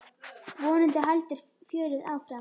Vonandi heldur fjörið áfram.